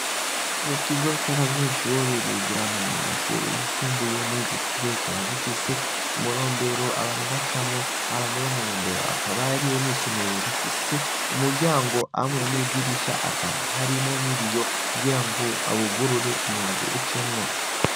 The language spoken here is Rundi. Ikigo c'abanyeshuri bigiramwo mu mashuri yisumbuye mw'ijo kigo gikaba gifise umurombero abantu bacamwo abamwe bo murombero akaba ari yo n'isomero rifise umuryango amwe n'idirisha akaba harimo ni biyo kugira ngo awugurure umuyaga ucemwo.